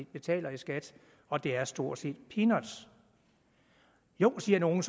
betaler i skat og det er stort set peanuts jo siger nogle